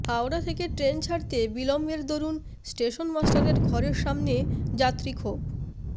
হাওড়া থেকে ট্রেন ছাড়তে বিলম্বের দরুণ স্টেশন মাস্টারের ঘরের সামনে যাত্রীক্ষোভ